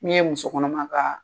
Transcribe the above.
Min ye musokɔnɔma ka